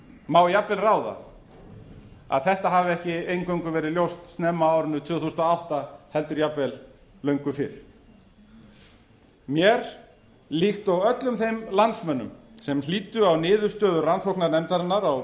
má jafnvel ráða að þetta hafi ekki eingöngu verið ljóst snemma á árinu tvö þúsund og átta heldur jafnvel löngu fyrr mér líkt og öllum þeim landsmönnum sem hlýddu á niðurstöður rannsóknarnefndarinnar á